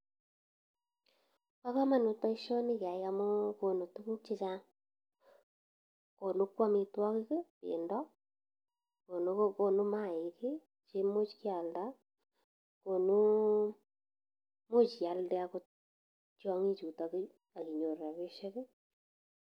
Bo komonut boisioni ngeyai amun konu tuguk chechang, konu kou amitwogik ii: bendo, konu maaik che imuch ialde, konu imuch ialde agot yiong'ichuto ak inyoru rabishek.